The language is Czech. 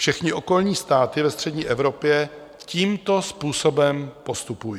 Všechny okolní státy ve střední Evropě tímto způsobem postupují.